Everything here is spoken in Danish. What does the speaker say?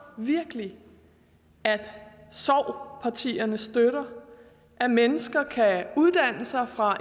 virkelig at sov partierne støtter at mennesker kan uddanne sig fra